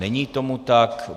Není tomu tak.